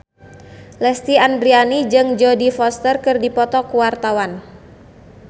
Lesti Andryani jeung Jodie Foster keur dipoto ku wartawan